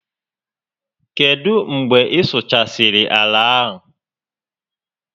Kedụ mgbe ị sụchasịrị àlà a?